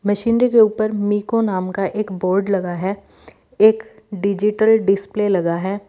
Machinery के ऊपर MICO नाम का एक बोर्ड लगा है एक डिजिटल डिस्प्ले लगा है।